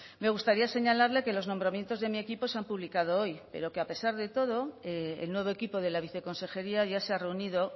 me gustaría señalarle que los nombramientos de mi equipo se han publicado hoy pero que a pesar de todo el nuevo equipo de la viceconsejería ya se ha reunido